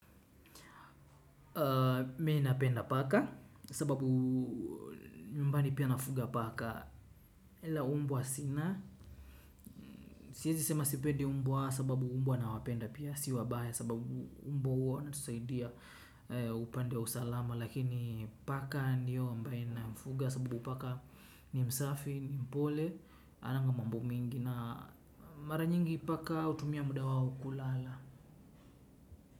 Mimi napenda paka sababu nyumbani pia nafuga paka la, umbwa sina siezi sema sipedi umbwa sababu umbwa nawapenda pia si wabaya sababu umbwa huwa wanatusaidia upande wa usalama lakini paka ndiyo ambaye namfuga sababu paka ni msafi ni mpole ananga mambo mingi na mara nyingi paka hutumia muda wao kulala.